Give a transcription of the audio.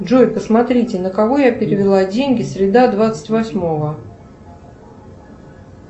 джой посмотрите на кого я перевела деньги среда двадцать восьмого